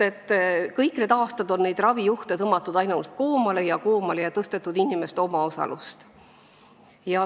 Kõik need aastad on ravijuhte ainult koomale ja koomale tõmmatud ning tõstetud inimeste omaosalust.